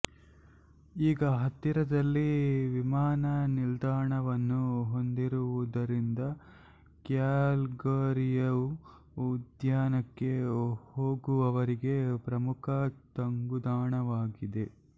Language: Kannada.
ಈಗ ಹತ್ತಿರದಲ್ಲಿ ವಿಮಾನ ನಿಲ್ದಾಣವನ್ನು ಹೊಂದಿರುವುದರಿಂದ ಕ್ಯಾಲ್ಗರಿಯು ಉದ್ಯಾನಕ್ಕೆ ಹೋಗುವವರಿಗೆ ಪ್ರಮುಖ ತಂಗುದಾಣವಾಗಿದೆ